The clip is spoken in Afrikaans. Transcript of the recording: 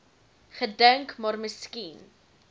gedink maar miskien